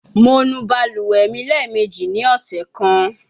Mo nu baluwe mi lẹẹmeji ni ọsẹ kan